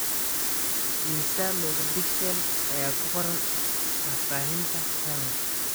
Immisa megapixels ayaa ku qoran faahfaahinta canon